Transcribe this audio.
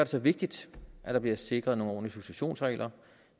så vigtigt at der bliver sikret nogle ordentlige successionsregler